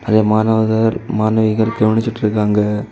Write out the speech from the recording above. நெறிய மாணவர்கள் மாணவிகள் கவனிச்சுட்டு இருக்காங்க.